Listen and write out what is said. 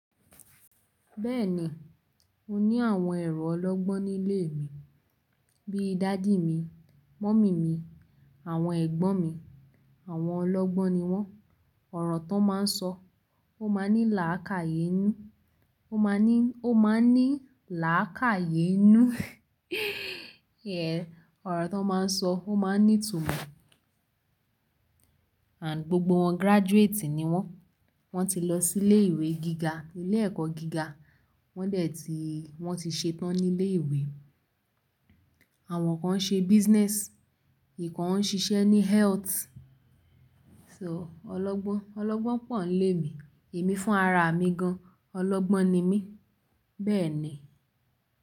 Bẹ́ẹ̀ni, mo ní àwọn èrọ ọlọ́gbọ́n nílé mi. Bíi daddy mi, mummy mi, àwọn ẹ̀gbọ́n mi, àwọn ọlọ́gbọ́n ni wọ́n. Ọ̀rọ̀ tó máa ń sọ, ó máa ń ní làákàyè inú, ó máa ń ní, ó máa ń ní làákàyè inú. Ọ̀rọ̀ tó máa ń sọ, ó máa ń ní ìtumọ̀. And gbogbo wọ́n graduate ni wọ́n. Wọ́n ti lọ sí ilé ìwé gíga, ilé ẹ̀kọ́ gíga. Wọ́n dẹ̀ ti, wọ́n ti ṣetán nílé ìwé. Àwọn kan ń ṣe business, ìkan ń ṣiṣẹ́ ní health. So ọlọ́gbọ́n, ọlọ́gbọ́n pọ̀ nílé mi. Èmi fún ara mi gan, ọlọ́gbọ́n ni mí. Bẹ́ẹ̀ ni.